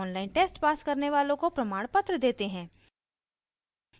online test pass करने वालों को प्रमाणपत्र देते हैं